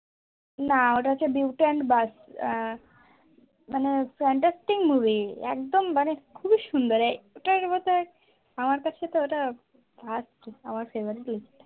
না ওটা হচ্ছে beauty and beast আহ মানে fantastic movie একদম মানে খুবই সুন্দর ওটার মত আমার কাছে তো ওটা first আমার favourite ই